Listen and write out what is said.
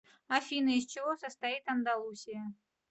афина из чего состоит андалусия